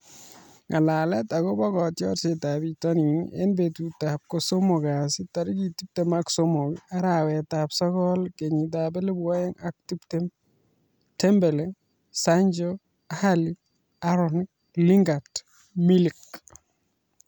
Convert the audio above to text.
Ng'alalet akobo kotiorsetab bitonin eng betutab kosomok kasi tarik tiptem ak somok, arawetab sokol, kenyitab elebu oeng ak tiptem :Dembele, Sancho ,Alli, Aarons, Lingard, Milik